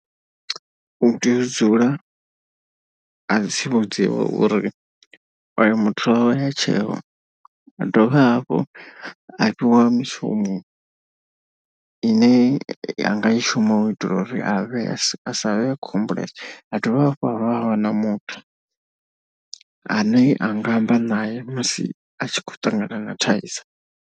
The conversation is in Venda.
U tea u dzula a tsivhudziwa uri oyo muthu wawe ha tsheo, a dovha hafhu vha fhiwa mishumo ine anga i shuma u itela uri a vhe a savhe a khou humbulesa. Ha dovha hafhu a wana muthu ane a nga amba naye musi a tshi khou ṱangana na thaidzo.